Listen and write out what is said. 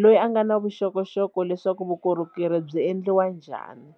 loyi a nga na vuxokoxoko leswaku vukorhokeri byi endliwa njhani.